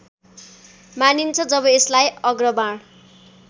मानिन्छ जब यसलाई अग्रबाण